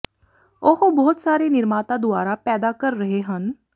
ਉਹ ਬਹੁਤ ਸਾਰੇ ਨਿਰਮਾਤਾ ਦੁਆਰਾ ਪੈਦਾ ਕਰ ਰਹੇ ਹਨ